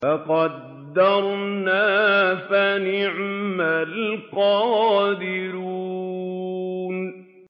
فَقَدَرْنَا فَنِعْمَ الْقَادِرُونَ